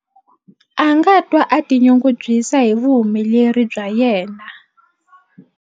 A nga twa a tinyungubyisa hi vuhumeleri bya yena.